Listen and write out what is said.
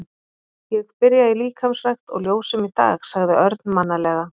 Ég byrja í líkamsrækt og ljósum í dag sagði Örn mannalega.